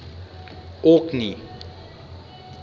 orkney